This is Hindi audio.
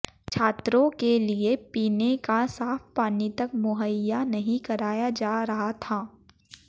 छात्रों के लिए पीने का साफ पानी तक मुहैया नहीं कराया जा रहा था